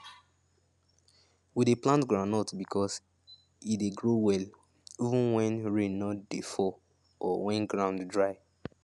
we dey plant groundnut because say e dey grow well even when rain no dey fall or when ground dry